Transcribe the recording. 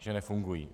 Že nefungují.